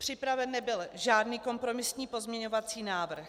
Připraven nebyl žádný kompromisní pozměňovací návrh.